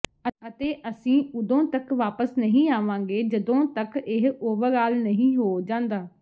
ਅਤੇ ਅਸੀਂ ਉਦੋਂ ਤੱਕ ਵਾਪਸ ਨਹੀਂ ਆਵਾਂਗੇ ਜਦੋਂ ਤੱਕ ਇਹ ਓਵਰਆਲ ਨਹੀਂ ਹੋ ਜਾਂਦਾ